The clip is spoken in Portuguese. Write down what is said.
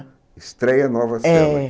Estreia Nova Sela. É